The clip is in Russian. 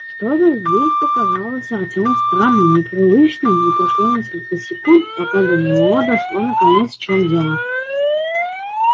что-то здесь показалось артёму странным непривычным и прошло несколько секунд пока до него дошло наконец в чём дело